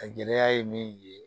A gɛlɛya ye min ye